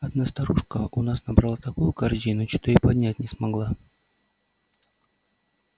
одна старушка у нас набрала такую корзину что её поднять не могла